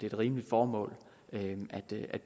et rimeligt formål